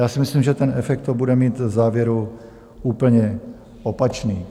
Já si myslím, že ten efekt to bude mít v závěru úplně opačný.